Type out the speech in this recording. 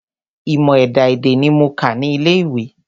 Ìmọ̀ ẹ̀dá-èdè ní mo kà ní ilé ìwé.